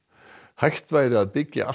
hægt væri að byggja allt